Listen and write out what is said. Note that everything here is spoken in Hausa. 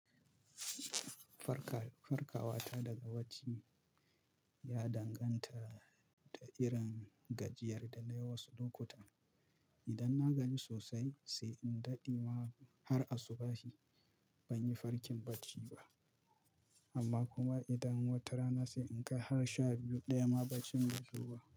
Farka-farkawa ta daga bacci ya danganta da irin gajiyar da na yi wasu lokutan. Idan na gaji sosai, sai in daɗe ma har asubahin ban yi farkin bacci ba. Amma kuma idan wata rana sai in kai har sha biyu daya ma bacin bai zo ba.